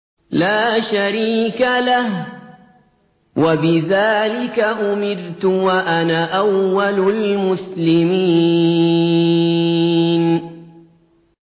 لَا شَرِيكَ لَهُ ۖ وَبِذَٰلِكَ أُمِرْتُ وَأَنَا أَوَّلُ الْمُسْلِمِينَ